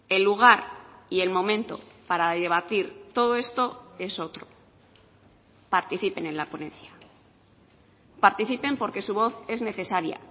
el lugar y el momento para debatir todo esto es otro participen en la ponencia participen porque su voz es necesaria